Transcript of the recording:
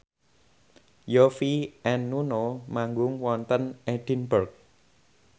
Yovie and Nuno manggung wonten Edinburgh